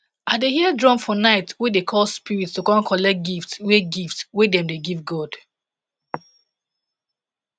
i dey hear drum for night wey dey call spirits to come collect gift wey gift wey dem dey give god